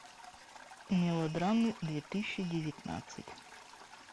мелодрамы две тысячи девятнадцать